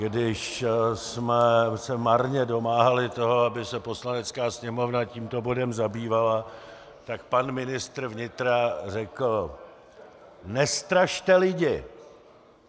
Když jsme se marně domáhali toho, aby se Poslanecká sněmovna tímto bodem zabývala, tak pan ministr vnitra řekl: Nestrašte lidi!